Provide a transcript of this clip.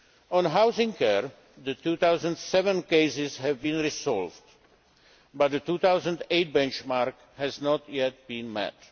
On housing care, the 2007 cases have been resolved, but the 2008 benchmark has not yet been met.